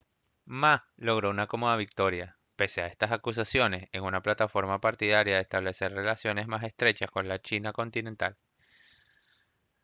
ma logró una cómoda victoria pese a estas acusaciones en una plataforma partidaria de establecer relaciones más estrechas con la china continental